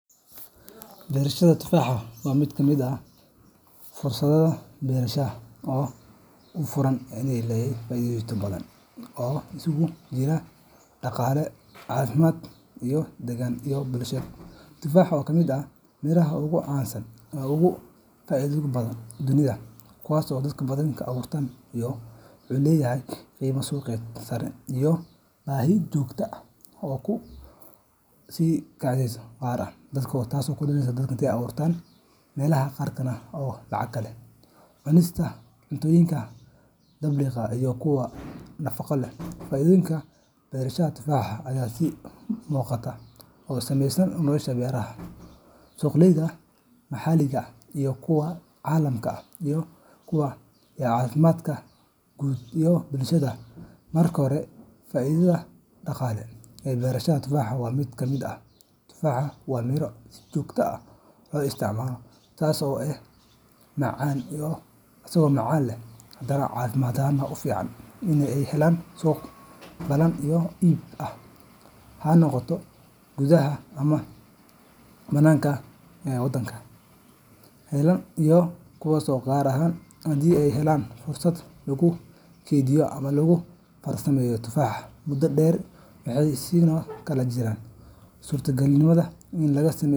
Beerashada tufaaxa waa mid ka mid ah fursadaha beeraleyda u furan ee leh faa’iidooyin badan oo isugu jira dhaqaale, caafimaad, deegaan, iyo bulsho. Tufaaxa, oo ka mid ah miraha ugu caansan uguna faa’iidada badan dunida, wuxuu leeyahay qiimo suuqeed sare iyo baahi joogto ah oo kor u sii kacaysa, gaar ahaan maadaama dadka ay u jeesteen cunista cuntooyinka dabiiciga ah iyo kuwa nafaqo leh. Faa’iidooyinka beerashada tufaaxa ayaa si muuqata u saameeya nolosha beeraleyda, suuqyada maxalliga ah iyo kuwa caalamiga ah, iyo caafimaadka guud ee bulshada. Marka hore, faa’iidada dhaqaale ee beerashada tufaaxa waa mid muhiim ah. Tufaaxu waa miro si joogto ah loo isticmaalo, taas oo macnaheedu yahay in beeraleyda ay helayaan suuq ballaaran oo iib ah, ha noqdo gudaha ama dibadda. Suuqa tufaaxa waxa uu yahay mid joogto ah oo leh dalab sare, taasoo fursad siinaysa beeraleyda inay helaan dakhli xasilloon sanadka oo dhan, gaar ahaan haddii ay helaan fursado lagu kaydiyo ama lagu farsameeyo tufaaxa muddo dheer. Waxaa sidoo kale jirta suurtagalnimada in laga sameeyo.